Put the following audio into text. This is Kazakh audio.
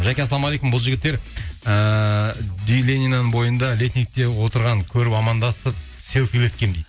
жаке ассалаумағалейкум бұл жігіттер ііі бойында летникте отырғанын көріп амандасып селфилеткенмін дейді